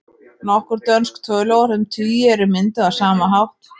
Nokkur dönsk töluorð um tugi eru mynduð á sama hátt.